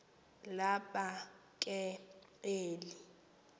laba ke eli